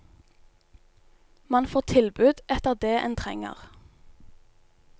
Man får tilbud etter det en trenger.